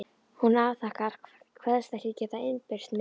Hún afþakkar, kveðst ekki geta innbyrt meira.